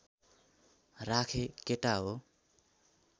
राखेँ केटा हो